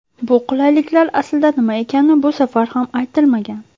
Bu qulayliklar aslida nima ekani bu safar ham aytilmagan.